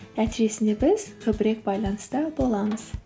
нәтижесінде біз көбірек байланыста боламыз